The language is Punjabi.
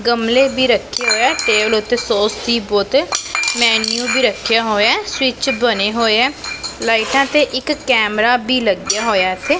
ਗਮਲੇ ਵੀ ਰੱਖੇ ਹੋਏ ਆ ਟੇਬਲ ਉਤੇ ਸੋਸ ਦੀ ਬੋਤਲ ਮੈਨੀਓ ਵੀ ਰੱਖਿਆ ਹੋਇਆ ਸਵਿੱਚ ਬਣੇ ਹੋਏ ਆ ਲਾਈਟਾਂ ਤੇ ਇੱਕ ਕੈਮਰਾ ਵੀ ਲੱਗਿਆ ਹੋਇਆ ਇੱਥੇ।